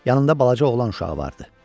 Yanında balaca oğlan uşağı vardı.